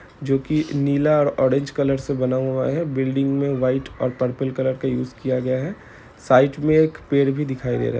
जोकी नीला और ऑरेंज कलर से बना हुआ है बिल्डिंग मे व्हाइट और पर्पल कलर का यूज किया गया है साइड मे एक पेड़ भी दिखाई दे रहा है।